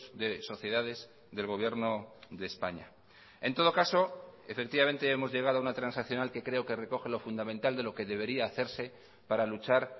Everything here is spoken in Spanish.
de sociedades del gobierno de españa en todo caso efectivamente hemos llegado a una transaccional que creo que recoge lo fundamental de lo que debería hacerse para luchar